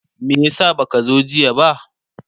me yasa baka zo jiya ba?